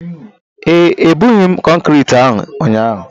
ee, ebughị m kọnkrịtị ahụ ụnyaahụ